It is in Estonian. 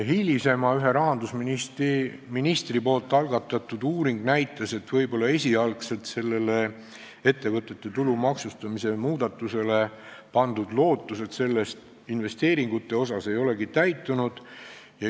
Hiljem näitas ühe rahandusministri algatatud uuring seda, et ettevõtete tulumaksustamise muudatusele esialgu pandud lootused investeeringute mõttes ei olegi täitunud.